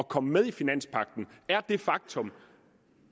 kom med i finanspagten er det faktum